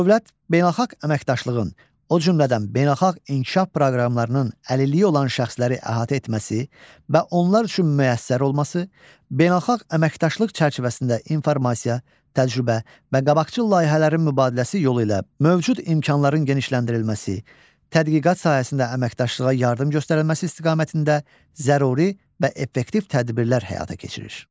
Dövlət beynəlxalq əməkdaşlığın, o cümlədən beynəlxalq inkişaf proqramlarının əlilliyi olan şəxsləri əhatə etməsi və onlar üçün müəssər olması, beynəlxalq əməkdaşlıq çərçivəsində informasiya, təcrübə və qabaqcıl layihələrin mübadiləsi yolu ilə mövcud imkanların genişləndirilməsi, tədqiqat sahəsində əməkdaşlığa yardım göstərilməsi istiqamətində zəruri və effektiv tədbirlər həyata keçirir.